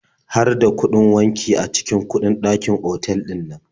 Har da kuɗin wanki a cikin kuɗin dakin otal ɗinnan?